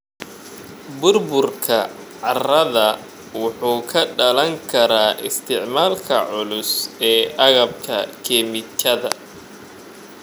Burburka carrada wuxuu ka dhalan karaa isticmaalka culus ee agabka kiimikada.